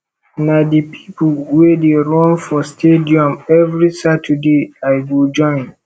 na di pipo we dey run for stadium every saturday i go join